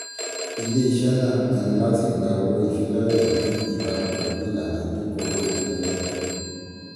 ilé-iṣẹ́ náà pinnu láti gba owó ìfilọ́lẹ̀ ní ìbámu pẹ̀lú ìlànà ìdínkùn owó ìfilọ́lẹ̀.